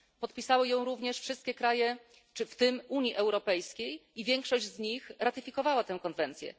Podpisały ją również wszystkie kraje, w tym Unii Europejskiej, i większość z nich ratyfikowało tę konwencję.